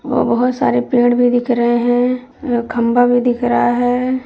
और बहुत सारे पेड़ भी दिख रहे हैं। अं खंबा भी दिख रहा है।